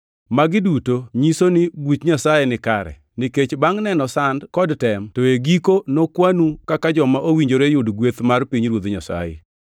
Magi duto nyiso ni buch Nyasaye nikare, nikech bangʼ neno sand kod tem to e giko nokwanu kaka joma owinjore yudo gweth mar pinyruoth Nyasaye.